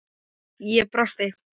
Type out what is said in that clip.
Ég brosti.